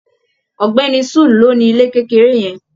Ògbéni sul ló ni ilé kékeré yẹn.